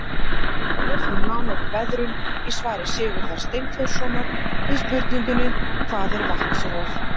Lesa má nánar um veðrun í svari Sigurðar Steinþórssonar við spurningunni Hvað er vatnsrof?